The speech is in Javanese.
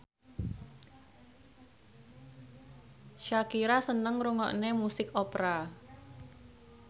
Shakira seneng ngrungokne musik opera